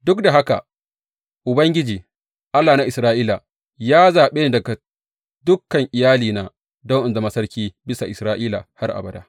Duk da haka Ubangiji, Allah na Isra’ila, ya zaɓe ni daga dukan iyalina don in zama sarki bisa Isra’ila har abada.